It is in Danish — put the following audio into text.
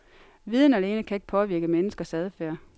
Viden alene kan ikke påvirke menneskers adfærd.